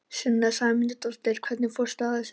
Sunna Sæmundsdóttir: Hvernig fórstu að þessu?